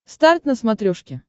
старт на смотрешке